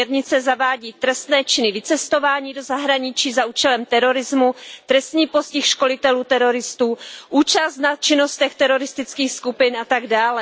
Směrnice zavádí trestné činy vycestování do zahraničí za účelem terorismu, trestní postih školitelů teroristů, účast na činnostech teroristických skupin atd.